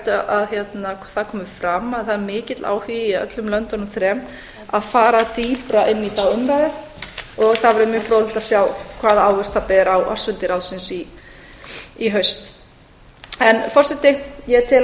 að það komi fram að það er mikill áhugi í öllum löndunum þrem að fara dýpra inn í þá umræðu og það verður mjög fróðlegt að sjá hvaða ávöxt það ber á ársfundi ráðsins í haust forseti ég tel